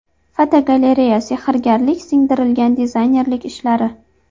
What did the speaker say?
Fotogalereya: Sehrgarlik singdirilgan dizaynerlik ishlari.